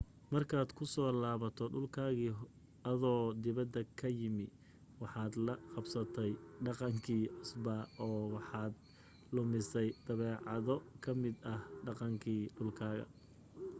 markaad ku soo laabato dhulkaagii adoo dibadda ka yimi waxaad la qabsatay dhaqankii cusbaa oo waxaad lumisay dabeecado ka mid ah dhaqankii dhulkaaga